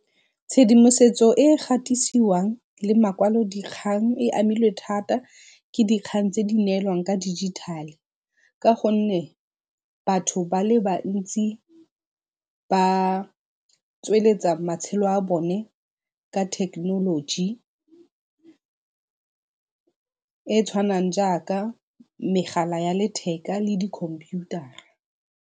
Tshedimosetso ka gatisiwang le makwalodikgang e amilwe thata ke dikgang tse di neelwang ka dijithale ka gonne batho ba le bantsi ba tsweletsa matshelo a bone ka thekenoloji e e tshwanang jaaka megala ya letheka le dikhomputara.